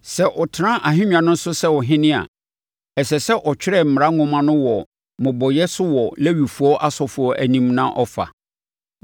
Sɛ ɔtena ahennwa no so sɛ ɔhene a, ɛsɛ sɛ ɔtwerɛ mmara nwoma no wɔ mmobɔeɛ so wɔ Lewifoɔ asɔfoɔ anim na ɔfa.